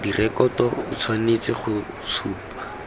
direkoto o tshwanetse go supa